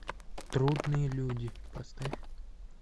трудные люди поставь